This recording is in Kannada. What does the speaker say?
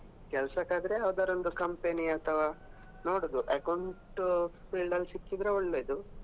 ಕೆಲ್ಸಕ್ ಆದ್ರೆ ಯಾವ್ದಾದ್ರು ಒಂದು company ಅಥವಾ ನೋಡುದು account field ಅಲ್ಲಿ ಸಿಕ್ಕಿದ್ರೆ ಒಳ್ಳೆಯದು